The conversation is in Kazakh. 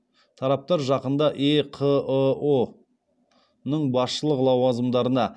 тараптар жақында еқыұ ның басшылық лауазымдарына